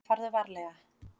Farðu varlega.